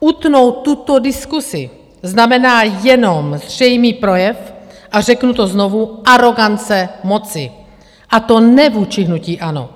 Utnout tuto diskusi znamená jenom zřejmý projev - a řeknu to znovu - arogance moci, a to ne vůči hnutí ANO,